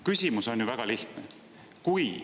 Küsimus on väga lihtne.